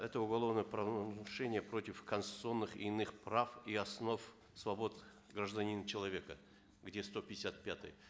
это уголовное правонарушение против конституционных и иных прав и основ свобод гражданина человека где сто пятьдесят пятая